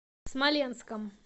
смоленском